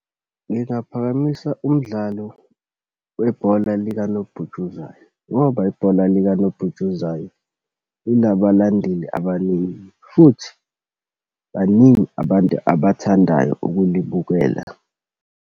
Ngingaphakamisa umdlalo webhola likanobhutshuzwayo, ngoba ibhola likanobhutshuzwayo linabalandeli abaningi futhi baningi abantu abathandayo ukulibukela.